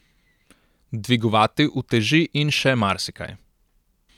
Dvigovati uteži in še marsikaj.